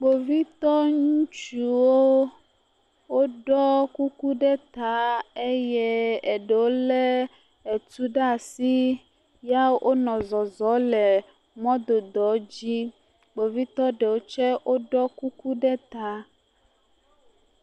Kpovitɔ ŋutsuwo woɖɔ kuku ɖe ta eye eɖewo lé tu ɖe asi ya wonɔ zɔzɔm le mɔdodo dzi kpovitɔ ɖewo tse ɖɔ kuku ɖe ta.